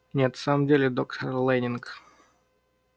нет в самом деле доктор лэннинг